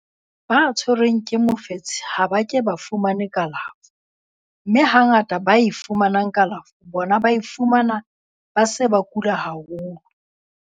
ba tshwerweng ke mofetshe ha ba ke ba fumane kalafo, mme hangata bao ba fumanang kalafo bona ba e fumana ba se ba kula haholo.